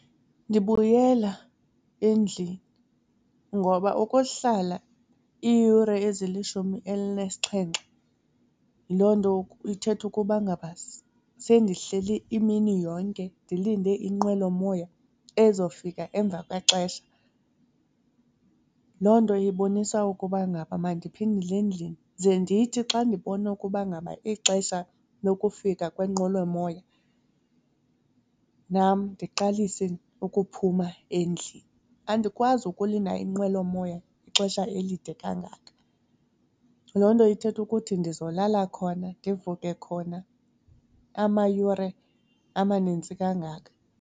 Ndibuyela endlini ngoba ukuhlala iiyure ezilishumi elinesixhenxe loo nto ithetha ukuba ngaba sendihleli imini yonke ndilinde inqwelomoya ezofika emva kwexesha. Loo nto ibonisa ukuba ngaba mandiphindele endlini ze ndithi xa ndibona ukuba ngaba ixesha lokufika kwenqwelomoya nam ndiqalise ukuphuma endlini. Andikwazi ukulinda inqwelomoya ixesha elide kangaka, loo nto ithetha ukuthi ndizolala khona ndivuke khona amayure amanintsi kangaka.